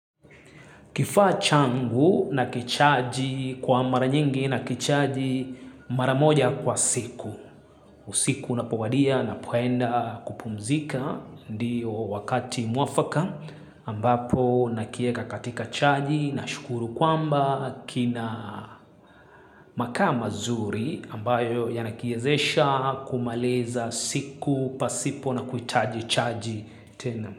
Kifaa changu nakichaji kwa mara nyingi nakichaji mara moja kwa siku. Usiku unapowadia napoenda kupumzika ndiyo wakati mwafaka ambapo nakieka katika chaji nashukuru kwamba kina makaa mazuri ambayo yanakiezesha kumaliza siku pasipo na kuhitaji chaji tena.